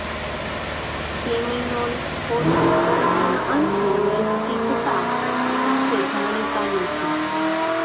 સેમિનોલ ખોટ કોઇ પણ અંશે નિશ્ચિતતા સાથે જાણીતા નથી